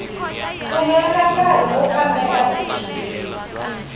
pfumelela nkari wo kambela michini